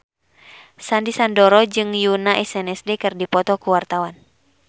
Sandy Sandoro jeung Yoona SNSD keur dipoto ku wartawan